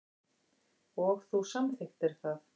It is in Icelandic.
Og þú samþykktir það.